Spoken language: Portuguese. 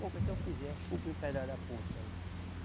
Boca, se eu fizer, cobrir um pedaço da ponte aí.